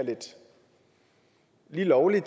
lige lovlig